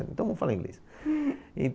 Então, vamos falar inglês.